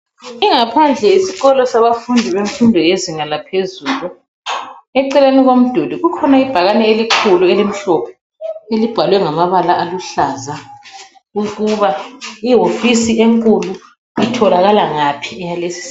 Ingaphandle yesikolo sabafundi bemfundo yezinga laphezulu eceleni komduli kukhona ibhakane elikhulu elimhlophe elibhalwe ngamabala aluhlaza ukuba ihofisi enkulu itholakala ngaphi eyalesi sikolo .